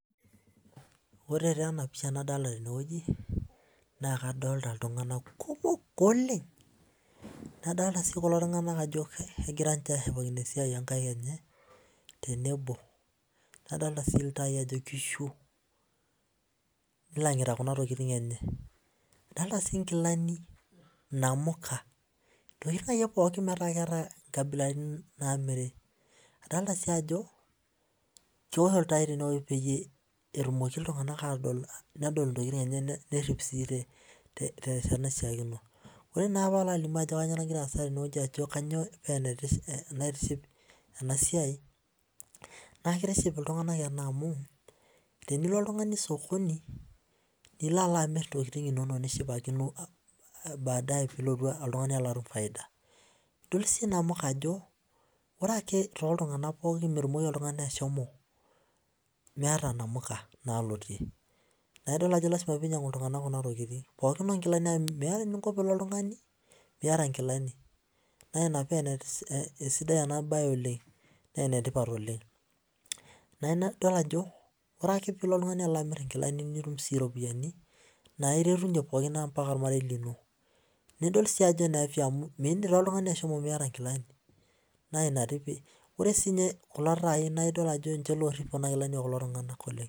Ore enapisha nadolita tenewueji nadolita ltunganak kumok oleng nadolita ltunganak egira ashipakino esiai onkaik enye tenebo nadolita si ltae ajob kishu nilangita nkilani enye nkabilaitin namiri adolita si ajo keosho ltai petumoki ltunganak atorip ntokitin enye tenkoitoi naishaakino, ore na palo alimu ajo kanyio nagira aasa tene paa enetipat na kitiship ltunganak enaa amu tenilo oltungani osokoni osokoni nilo amir amir ntokitin inonok nishipakino faida ore ake toltunganak pookin metumoki oltungani ashomo meeta namuka meeta enkinko oltungani pilo miata nkilani na ina pa esidai enabae oleng na enetipat oleng idol ajo ore ake pilo oltungani atum iropiyiani naretunye ormarei lenye naidil si ajo midim oltungani ashomo miata nkilani ore si kulo tai na ninche orip kuna kilani oleng